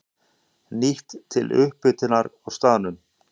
Nýtt til upphitunar á staðnum.